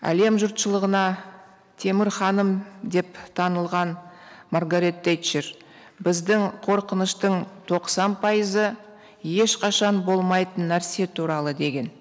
әлем жұртшылығына темір ханым деп танылған маргарет тетчер біздің қорқыныштың тоқсан пайызы ешқашан болмайтын нәрсе туралы деген